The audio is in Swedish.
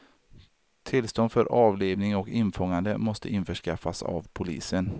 Tillstånd för avlivning och infångande måste införskaffas av polisen.